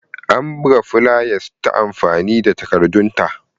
Ana buga fulayas ta amfani da takardan at.